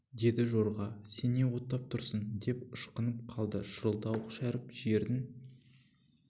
деді жорға сен не оттап тұрсың деп ышқынып қалды шырылдауық шәріп жердің